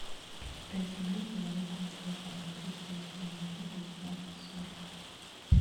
пять рублей положить на телефон триста восемнадцать девятнадцать сорок